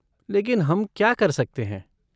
लेकिन हम क्या कर सकते हैं?